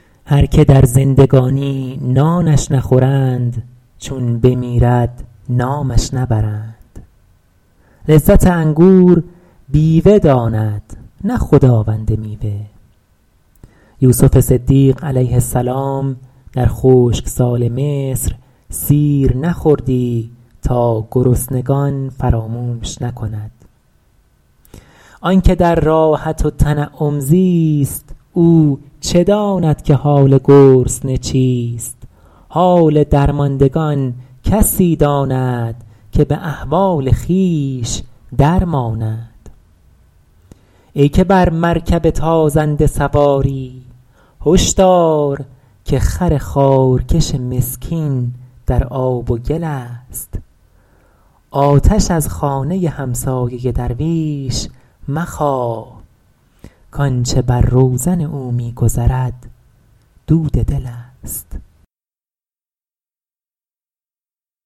هر که در زندگانی نانش نخورند چون بمیرد نامش نبرند لذت انگور بیوه داند نه خداوند میوه یوسف صدیق علیه السلام در خشکسال مصر سیر نخوردی تا گرسنگان فراموش نکند آن که در راحت و تنعم زیست او چه داند که حال گرسنه چیست حال درماندگان کسی داند که به احوال خویش در ماند ای که بر مرکب تازنده سواری هش دار که خر خارکش مسکین در آب و گل است آتش از خانه همسایه درویش مخواه کآنچه بر روزن او می گذرد دود دل است